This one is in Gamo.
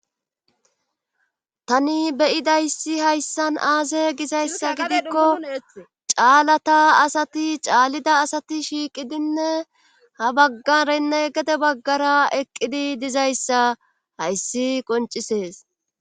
tani beyidayssi hayssan aase gizayssa gidikko caalata asati caallida asati shiiqidinne ha baggarenne gede baggara eqqidi dizayssa hayssi qoncisees